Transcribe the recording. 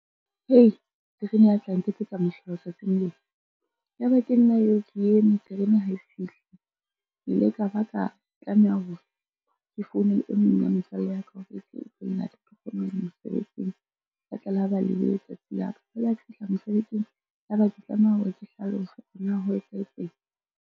Hei, rerene ya tla nketsetsa mohlolo tsatsing lena, ya ba ke nna eo ke eme terene ha e fihle. Ke ile ka ba ka tlameha hore ke founele e mong wa motswalle ya ka hore e tle e tlo nlata, ke kgone ho ya mosebetsing. La tla ka ba lebe letsatsi la ka, jwale ha ke fihla mosebetsing ya ba ke tlameha hore ke hlalosa hore na ho etsahetseng.